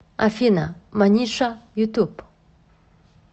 афина маниша ютуб